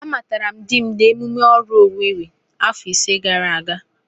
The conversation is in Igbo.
Amatara m dim n'emume oru Owere afọ ise gara aga.